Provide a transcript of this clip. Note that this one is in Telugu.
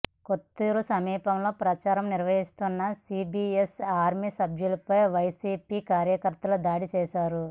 కొత్తూరు సమీపంలో ప్రచారం నిర్వహిస్తున్న సీబీఎన్ ఆర్మీ సభ్యులపై వైసీపీ కార్యకర్తలు దాడి చేశారు